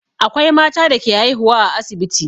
Akwai mata da ke haihuwa a asibiti.